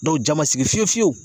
Dɔw ja ma sigi fiyewu fiyewu